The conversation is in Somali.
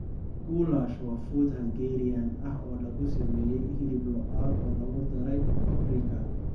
Goulash waa fuud Hungarian ah oo lagu sameeyay hilib lo'aad oo lagu daray paprika.